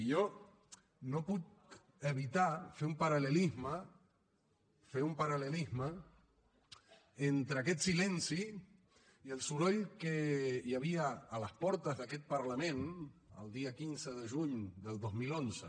i jo no puc evitar fer un paral·lelisme fer un paral·lelisme entre aquest silenci i el soroll que hi havia a les portes d’aquest parlament el dia quinze de juny del dos mil onze